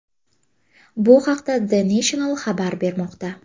Bu haqda The National xabar bermoqda .